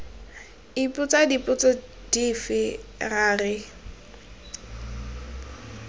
ipotsa dipotso dife ra re